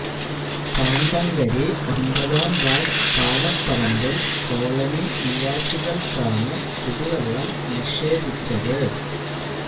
പാണ്ടങ്കരി ഒന്പതാം വാര്ഡ് പാലപ്പറമ്പില് കോളനി നിവാസികള്ക്കാണ് കുടിവെള്ളം നിഷേധിച്ചത്